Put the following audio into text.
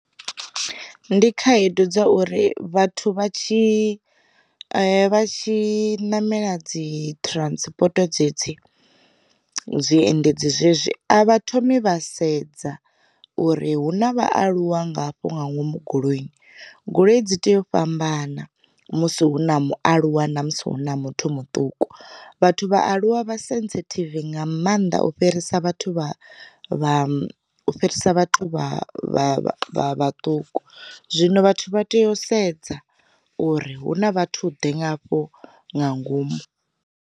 Ndi khaedu dza uri vhathu vha tshi vha tshi namela dzi transport dzedzi, zwiendedzi zwezwi avha thomi vha sedza uri hu na vhaaluwa ngafho nga ngomu goloini goloi dzi tea u fhambana musi hu na mualuwa na musi hu na muthu muṱuku. Vhathu vhaaluwa vha sensitive nga maanḓa u u fhirisa vhathu vha vha u fhirisa vha vha vhaṱuku. Zwino vhathu vha tea u sedza uri hu na vhathu ḓe nga hafho nga ngomu.